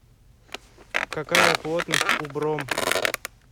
какая плотность у бром